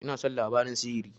Ina son labarin sihiri.